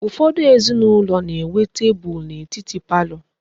Ufodu ezinaulo na-enwe teebul n'etiti parlor ha